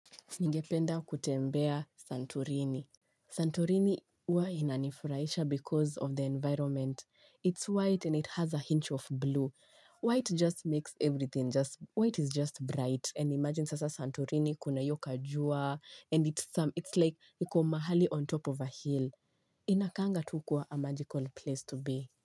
Ningependa kutembea Santurini. Santurini huwa inanifurahisha because of the environment. It's white and it has a hint of blue. White just makes everything. White is just bright. And imagine sasa Santurini kuna hiyo ka jua. And it's like niko mahali on top of a hill. Inakanga tu kuwa a magical place to be.